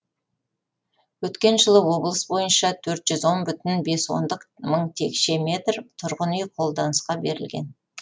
өткен жылы облыс бойынша төрт жүз он бүтін бес ондық мың текше метр тұрғын үй қолданысқа берілген